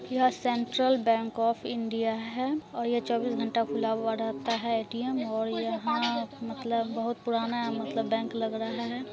यह Central Bank of India है और यह चौबीस घंटा खुला हुआ रहता है एटीएम और यहाँ मतलब बहुत पुराना मतलब बैंक लग रहा हैं।